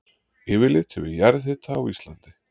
Yfirlit yfir jarðhita á Íslandi.